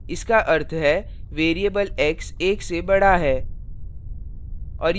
इसका अर्थ है variable x एक से बढ़ा है